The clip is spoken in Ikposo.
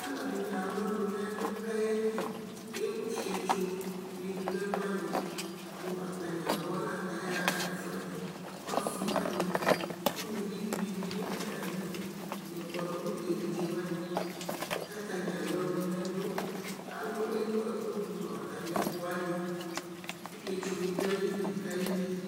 Alʋɛdìní alʋ ɔnʋ nʋ ɛlu kʋ ayeli Ewu fietso ni du nʋ ɛkʋ wani mʋ atani abɔ la kʋ ayaha ɛfʋɛdi Ɔsi wani, ʋlʋvi dìní bi du atami li yɔ kpɔdu nʋ evidze wani kʋ atani alʋ ɔnʋ nʋ ɛlu Ewu ɛku du nu atami ɛkʋ wani kʋ fietso ni du ayìlí kʋ ayeli